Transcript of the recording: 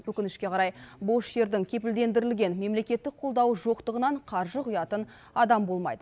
өкінішке қарай бос жердің кепілдендірілген мемлекеттік қолдауы жоқтығынан қаржы құятын адам болмайды